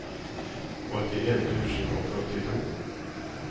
åttien tusen og førtito